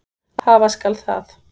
Hafa skal það.